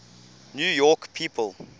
new york people